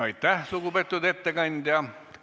Aitäh, lugupeetud ettekandja!